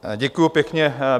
Děkuju pěkně.